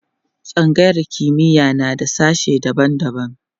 tsangayar kimiya na da sashe daban daban